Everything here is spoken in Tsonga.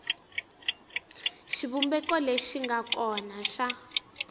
xivumbeko lexi nga kona xa